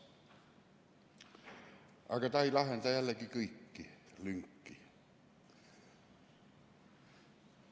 Aga ta ei lahenda jällegi kõiki lünki.